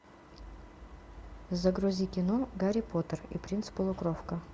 загрузи кино гарри поттер и принц полукровка